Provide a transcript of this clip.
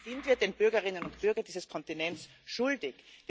Das sind wir den Bürgerinnen und Bürgern dieses Kontinents schuldig.